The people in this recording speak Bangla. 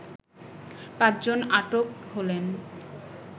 পাঁচ জন আটক হলেন